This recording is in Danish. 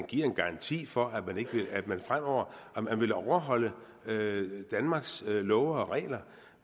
giver en garanti for at man fremover vil overholde danmarks love og regler